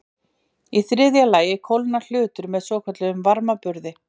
Í þriðja lagi kólnar hlutur með svokölluðum varmaburði.